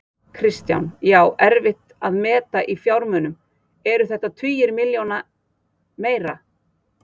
Kristján: Já, erfitt að meta í fjármunum, eru þetta tugir milljóna, meira?